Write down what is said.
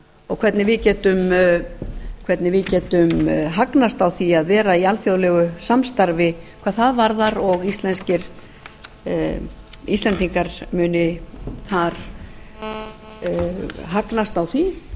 og hvernig við getum hagnast á því að vera í alþjóðlegu samstarfi hvað það varðar og íslendingar muni hagnast á því